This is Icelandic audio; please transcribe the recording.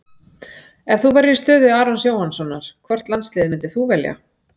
Ef þú værir í stöðu Arons Jóhannssonar, hvort landsliðið myndir þú velja?